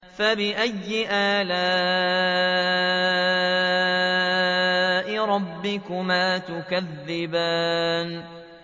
فَبِأَيِّ آلَاءِ رَبِّكُمَا تُكَذِّبَانِ